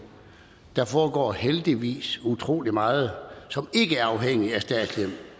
der foregår heldigvis utrolig meget som ikke er afhængig af statslige